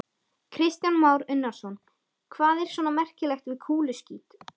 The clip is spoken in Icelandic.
Kristján Már Unnarsson: Hvað er svona merkilegt við kúluskít?